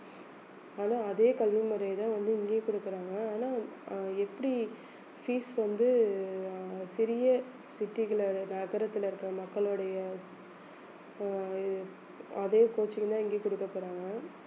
ஆனா அதே கல்வி முறையைத்தான் வந்து இங்கேயும் குடுக்கறாங்க ஆனா அஹ் எப்படி fees வந்து ஆஹ் சிறிய city குள்ள இருக்கற நகரத்துல இருக்கற மக்களுடைய அஹ் இ~ அதே coaching தான் இங்கயும் குடுக்கப்போறாங்க